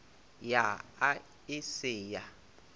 ya a e se ya